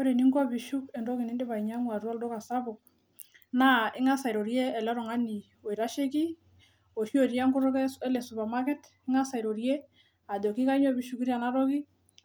Ore eninko piishuk entoki nindipa ainyang'u tiatu olduka sapuk, naa ingaas airorie oltungani oitasheki oshii otii enkutukl ele supermarket ingaas airorie ajoki kainyoo piishukuto ena toki